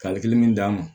Kali kelen min d'an ma